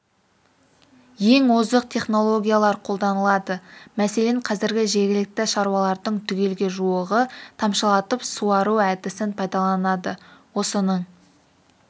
ең озық технологиялар қолданылады мәселен қазір жергілікті шаруалардың түгелге жуығы тамшылатып суару әдісін пайдаланады осының